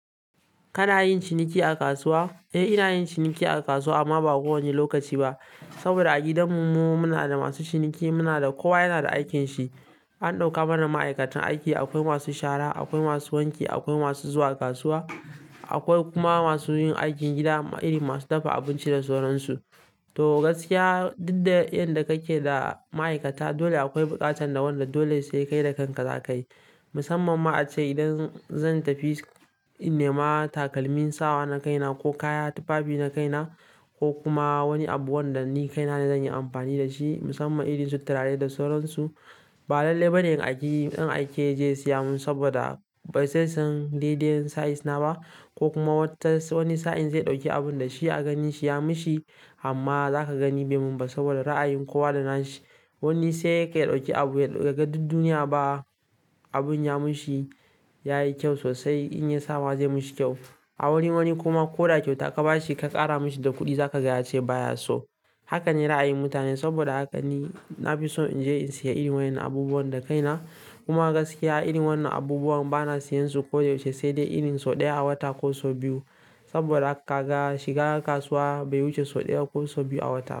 Kana yin ciniki a kasuwa? Eh, ina yin ciniki a kasuwa amma ba ko wani lokaci ba. Saboda a gidanmu mu muna da masu ciniki, muna da kowa yana da aikinshi. An ɗauka mana ma'aikatan aiki, akwai masu shara, akwai masu wanki, akwai masu zuwa kasuwa, akwai kuma masu yin aikin gida irin masu dafa abinci da sauran su. To gaskiya, duk da yadda kake da maaikata dole akwai buƙatar da wanda dole sai kai da kan ka za ka yi. Musamman ma ace idan zan tafi in nema takalmin sawa na kaina ko kaya, tufafi na kaina ko kuma wani abu wanda ni kaina ne zan yi amfani da shi musamman irin su turare da sauran su, ba lallai bane in aiki dan aike yaje siya mun saboda bai zesan daidai size na ba ko kuma wata wani sa'in zai ɗauki abun da shi a ganin shi ya mishi amma za ka ga ni bai mun ba saboda ra'ayin kowa da nashi. Wani sai ka ya ɗauki abu yaga duk duniya ba abun ya mishi, yayi kyau sosai in ya sama zai mishi kyau. A wurin wani kuma ko da kyauta ka ba shi ka ƙara mishi da kuɗi za ka ga ya ce baya so. Haka ne ra'ayin mutane saboda haka ni na fi so in je in siya irin wayannan abubuwan da kaina. Kuma gaskiya irin wannan abubuwan bana siyansu koyaushe sai dai irin sau ɗaya a wata ko sau biyu. Saboda haka kaga shiga kasuwa bai wuce sau daya ko sau biyu a wata.